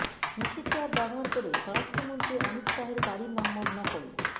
নিষিদ্ধ অ্যাপ ব্যবহার করে স্বরাষ্ট্রমন্ত্রী অমিত শাহের বাড়ির নম্বর নকল